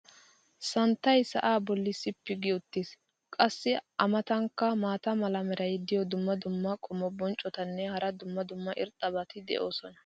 santtay sa"aa boli sippi gi uttiis. qassi a matankka maata mala meray diyo dumma dumma qommo bonccotinne hara dumma dumma irxxabati de'oosona.